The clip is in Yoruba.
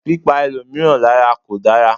Pípa ẹlòmíràn lárà kò dára.